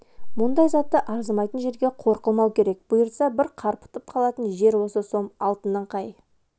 мұндай затты арзымайтын жерге қор қылмау керек бұйыртса бір қарпытып қалатын жер осы сом алтынын қай